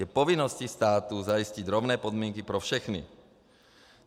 Je povinností státu zajistit rovné podmínky pro všechny.